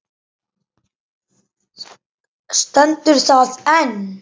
Stendur það enn?